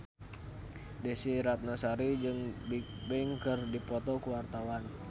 Desy Ratnasari jeung Bigbang keur dipoto ku wartawan